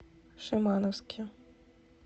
шимановске